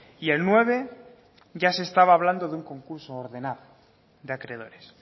y el nueve ya se estaba hablando de un concurso ordenado de acreedores